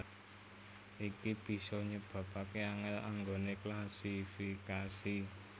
Iki bisa nyebabaké angèl anggoné klasifikasi